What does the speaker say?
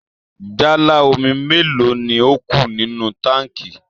Jálá omi mélòó ni ó kù nínú táǹkì?